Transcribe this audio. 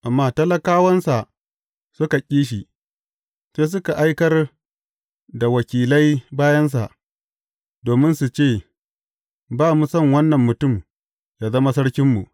Amma talakawansa suka ƙi shi, sai suka aikar da wakilai bayansa, domin su ce, Ba mu son wannan mutum ya zama sarkinmu.’